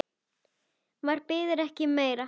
Maður biður ekki um meira.